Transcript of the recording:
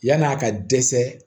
Yann'a ka dɛsɛ